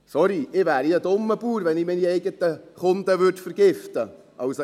Sorry, ich wäre ein dummer Bauer, wenn ich meine eigenen Kunden vergiften würde.